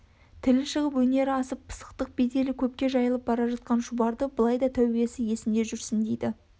тілі шығып өнері асып пысықтық беделі көпке жайылып бара жатқан шұбарды былай да тәубесі есінде жүрсін дейді